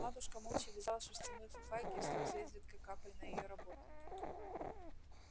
матушка молча вязала шерстяную фуфайку и слёзы изредка капали на её работу